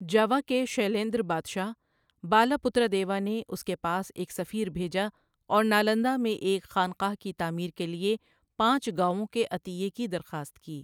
جاوا کے شیلیندر بادشاہ بالاپتر دیوا نے اس کے پاس ایک سفیر بھیجا اور نالندا میں ایک خانقاہ کی تعمیر کے لیے پانچ گاؤوں کے عطیے کی درخواست کی۔